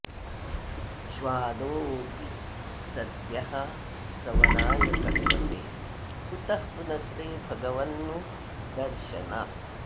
श्वादोऽपि सद्यः सवनाय कल्पते कुतः पुनस्ते भगवन् नु दर्शनात्